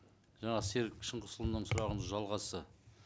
жаңа серік шыңғысұлының сұрағының жалғасы